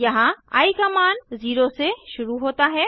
यहाँ आई का मान 0 से शुरू होता है